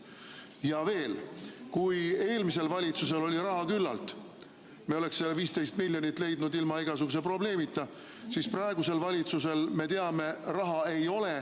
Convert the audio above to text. Ja veel, kui eelmisel valitsusel oli raha küllalt – me oleks see 15 miljonit leidnud ilma igasuguse probleemita –, siis praegusel valitsusel, me teame, raha ei ole.